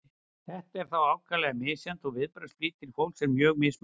þetta er þó ákaflega misjafnt og viðbragðsflýtir fólks er mjög mismunandi